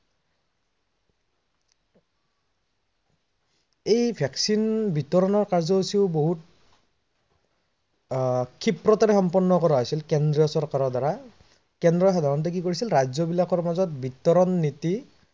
এই vaccine বিতৰনৰ কাৰ্যসুচিও আহ বহুত ক্ষিপ্ৰতাৰে সম্পন্ন কৰা হৈছিল কেন্দ্ৰ চৰকাৰৰ দ্বাৰা, কেন্দ্ৰই সাধাৰনতে কি কৰিছিল ৰাজ্য বিলাকৰ মাজত বিতৰন নীতি